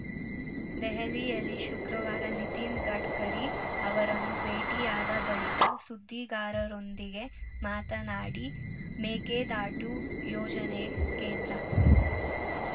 ದೆಹಲಿಯಲ್ಲಿ ಶುಕ್ರವಾರ ನಿತಿನ್‌ ಗಡ್ಕರಿ ಅವರನ್ನು ಭೇಟಿಯಾದ ಬಳಿಕ ಸುದ್ದಿಗಾರರೊಂದಿಗೆ ಮಾತನಾಡಿ ಮೇಕೆದಾಟು ಯೋಜನೆ ಕೇಂದ್ರ